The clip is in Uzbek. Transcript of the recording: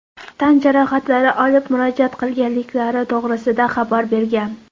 tan jarohatlari olib murojaat qilganliklari to‘g‘risida xabar bergan.